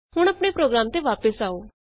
ਹੁਣ ਆਪਣੇ ਪ੍ਰੋਗਰਾਮ ਤੇ ਵਾਪਸ ਆਉ